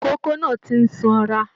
Ikòkò náà tí n sanra.